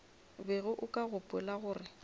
bego o ka gopola gore